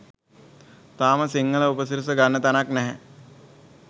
තාම සිංහල උපසිරසි ගන්න තැනක් නැහැ.